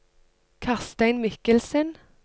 Karstein Mikkelsen